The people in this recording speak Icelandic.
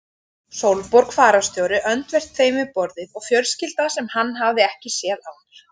Sólborg fararstjóri öndvert þeim við borðið og fjölskylda sem hann hafði ekki séð áður.